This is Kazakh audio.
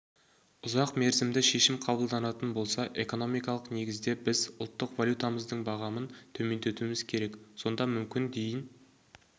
ұзақ мерзімді шешім қабылданатын болса экономикалық негізде біз ұлттық валютамыздың бағамын төмендетуіміз керек сонда мүмкін дейін